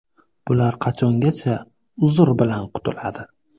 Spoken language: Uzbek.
Bular qachongacha ‘uzr’ bilan qutuladi.